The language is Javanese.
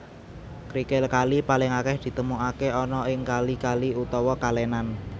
Krikil kali paling akeh ditemukake ana ing kali kali utawa kalenan